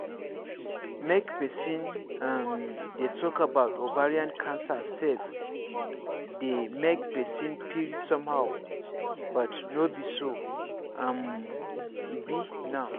make persin um dey talk about ovarian cancer sef dey make persin feel somehow but no be so um e be now